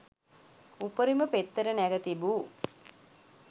උපරිම පෙත්තට නැග තිබූ